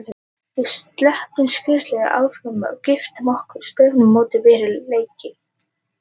Við sleppum skírnarveislum, afmælum, giftingum og stefnumótum fyrir leiki.